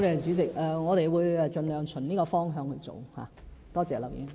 主席，我們會盡量循這方向來做，多謝劉議員。